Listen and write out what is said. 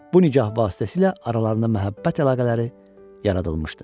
Bu nikah vasitəsilə aralarında məhəbbət əlaqələri yaradılmışdı.